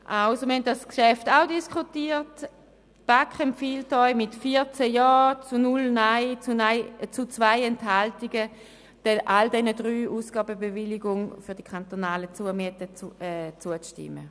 Wir haben dieses Geschäft in der Kommission diskutiert, und die BaK empfiehlt Ihnen mit 14 Ja- zu 0 Nein-Stimmen bei 2 Enthaltungen, allen drei Ausgabebewilligungen für die kantonalen Zumieten zuzustimmen.